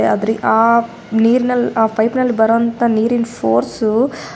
ಯಾದ್ರಿ ಆಹ್ಹ್ ನೀರಿನಲ್ಲಿ ಪೈಪ್ ನಲ್ಲಿ ಬಾರೋ ನೀರಿನ ಫೋರ್ಸ್ --